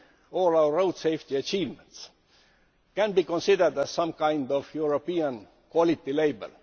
All our road safety achievements can be considered as a kind of European quality label.